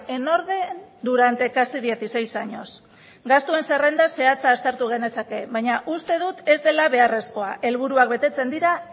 en orden durante casi dieciséis años gastuen zerrenda zehatza aztertu genezake baina uste dut ez dela beharrezkoa helburuak betetzen dira